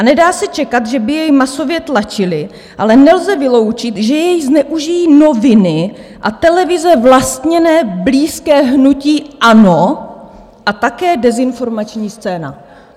"A nedá se čekat, že by jej masově tlačily, ale nelze vyloučit, že jej zneužijí noviny a televize vlastněné blízké hnutí ANO a také dezinformační scéna."